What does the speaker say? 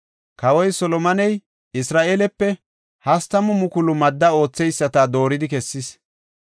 Kawoy Solomoney Isra7eele 30,000 madda ootheyisata dooridi kessis.